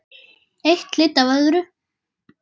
Eitt leiddi af öðru.